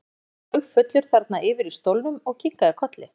Óli sat haugfullur þarna yfir í stólnum og kinkaði kolli.